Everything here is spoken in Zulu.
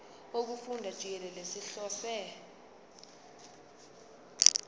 wokufunda jikelele sihlose